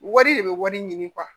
Wari de bɛ wari ɲini